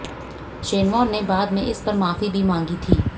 Shane Warne में बाद में इस पर माफी भी मांगी थी